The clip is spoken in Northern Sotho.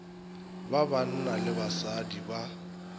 ba banna le basadi ba